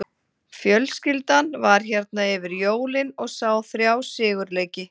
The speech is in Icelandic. Fjölskyldan var hérna yfir jólin og sá þrjá sigurleiki.